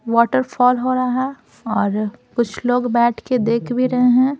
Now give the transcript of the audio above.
Waterfall हो रहा और कुछ लोग बैठ के देख भी रहे हैं।